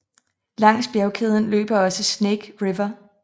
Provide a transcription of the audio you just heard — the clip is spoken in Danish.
Langs bjergkæden løber også Snake River